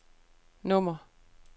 nummer